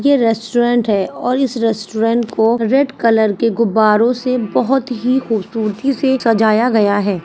यह रेस्टोरेंट है और इस रेस्टोरेंट को रेड कलर के गुब्बारों से बोहोत ही खूबसूरती से सजाया गया है।